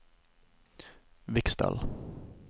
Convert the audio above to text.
Viksdalen